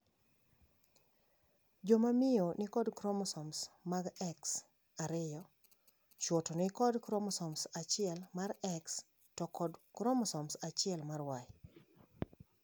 Jomamiyo nikod kromosoms mag X ariyo, chuo to nikod kromosom achiel mar X to kod kromosom achiel mar Y.